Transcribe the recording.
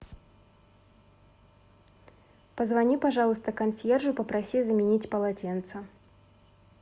позвони пожалуйста консьержу и попроси заменить полотенца